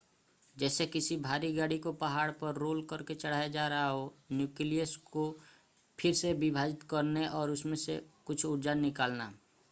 जैसे किसी भारी गाड़ी को पहाड़ पर रोल करके चढ़ाया जा रहा हो न्यूक्लियस को फिर से विभाजित करना और उसमें से कुछ ऊर्जा निकालना